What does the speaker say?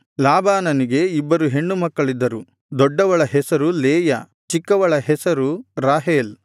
ಲಾಬಾನನಿಗೆ ಇಬ್ಬರು ಹೆಣ್ಣುಮಕ್ಕಳಿದ್ದರು ದೊಡ್ಡವಳ ಹೆಸರು ಲೇಯಾ ಚಿಕ್ಕವಳ ಹೆಸರು ರಾಹೇಲ್